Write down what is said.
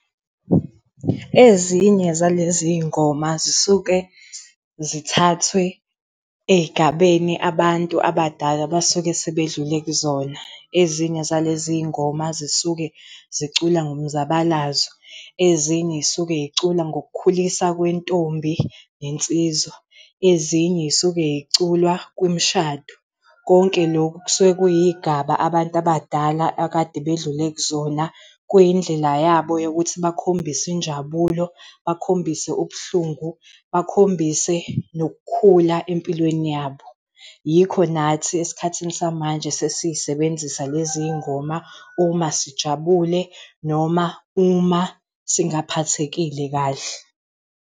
Ezinye zalezi ngoma zisuke zithathwe ey'gabeni abantu abadala abasuke sebedlule kuzona. Ezinye zalezi ngoma zisuke zicula ngomzabalazo. Ezinye zisukey'cula ngokukhuliswa kwentombi, nensizwa. Ezinye sukey'culwa kwimshado. Konke lokhu kusuke kuyigaba abantu abadala akade bedlule kuzona kuyindlela yabo yokuthi bakhombise injabulo, bakhombise ubuhlungu, bakhombise nokukhula empilweni yabo. Yikho nathi esikhathini samanje sesisebenzisa lezi ngoma uma sijabule noma uma singaphathekile kahle,